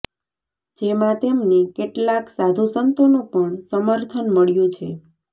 જેમાં તેમને કેટલાક સાધુ સંતોનું પણ સમર્થન મળ્યું છે